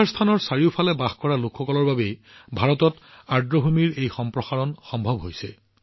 ৰামচৰ স্থানৰ চাৰিওফালে বাস কৰা লোকসকলৰ বাবে ভাৰতত আৰ্দ্ৰভূমিৰ এই সম্প্ৰসাৰণ সম্ভৱ